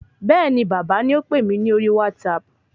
Bẹ́ẹ̀ni bàbá ni ópè mi ní orí WhatsApp